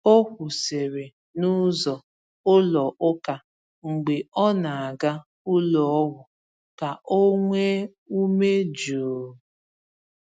O kwụsịrị n’ụzọ ụlọ ụka mgbe ọ na-aga ụlọọgwụ ka o nwee ume jụụ.